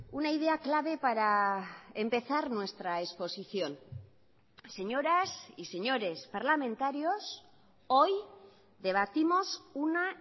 una idea clave para empezar nuestra exposición señoras y señores parlamentarios hoy debatimos una